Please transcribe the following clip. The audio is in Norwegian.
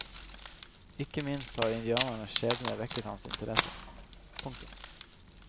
Ikke minst har indianernes skjebne vekket hans interesse. punktum